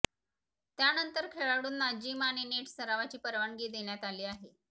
त्यानंतर खेळाडूंना जीम आणि नेट सरावाची परवानगी देण्यात आली आहे